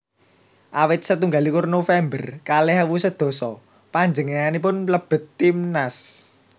Awit setunggal likur November kalih ewu sedasa panjenenganipun mlebet timnas